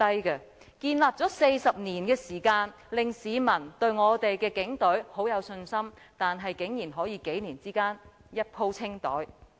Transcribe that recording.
警隊民望建立了40年，讓市民對我們的警隊很有信心，但竟然可以在數年間"一鋪清袋"。